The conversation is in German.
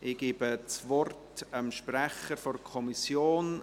Ich gebe das Wort dem Sprecher der Kommission.